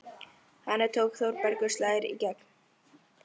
Þangað til Þórbergur slær í gegn.